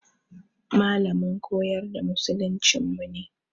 Malamin koyar da musuluncinmu ne.